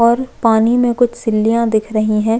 और पानी में कुछ सिल्लिया दिख रही है।